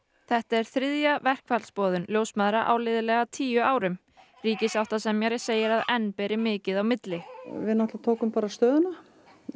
þetta er þriðja verkfallsboðun ljósmæðra á liðlega tíu árum ríkissáttasemjari segir að enn beri mikið á milli við tókum stöðuna